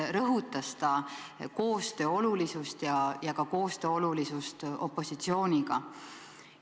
Ta rõhutas siis koostöö olulisust ja ka opositsiooniga koostöö olulisust.